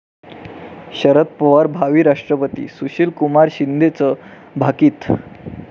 शरद पवार भावी राष्ट्रपती, सुशीलकुमार शिंदेंचं भाकीत